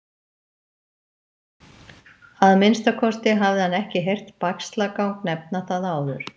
Að minnsta kosti hafði hann ekki heyrt Bægslagang nefna það áður.